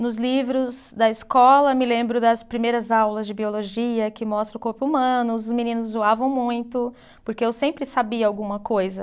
Nos livros da escola, me lembro das primeiras aulas de biologia, que mostra o corpo humano, os meninos zoavam muito, porque eu sempre sabia alguma coisa.